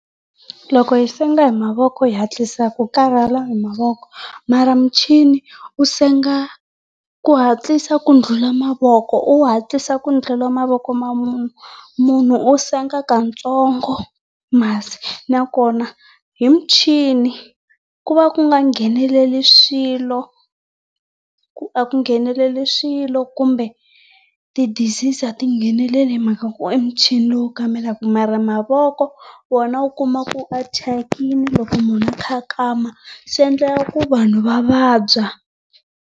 Loko hi senga hi mavoko hi hatlisa hi karhala hi mavoko mara muchini wu senga ku hatlisa ku ndlhula mavoko. U hatlisa ku ndhlula mavoko ma munhu. Munhu u senga katsongo masi nakona hi muchini ku va ku nga ngheneleli swilo, a ku ngheneleli swilo kumbe ti disease a ti ngheneleli hi mhaka ku e muchini wu mara mavoko ma ku karhala hlangani mavoko hatlisa endzhaku karhi celani mavoko mhalamala tshwini u senthara tlunya hatlisa ku dlula mavoko u hatlisa ku ndlela mavoko wona u kuma ku ma thyakile loko munhu a kha a kama. Swi endla ku vanhu va vabya.